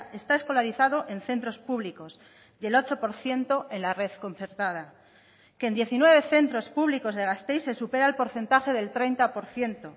está escolarizado en centros públicos y el ocho por ciento en la red concertada que en diecinueve centros públicos de gasteiz se supera el porcentaje del treinta por ciento